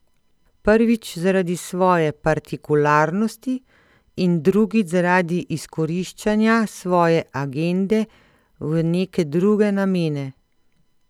Prvič zaradi svoje partikularnosti in drugič zaradi izkoriščanja svoje agende v neke druge namene.